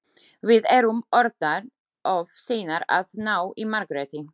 Við erum orðnar of seinar að ná í Margréti.